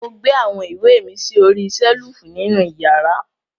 Mo gbé awọn iwe mi sí ọ̀rìṣèlúfù nínu ìyàrà.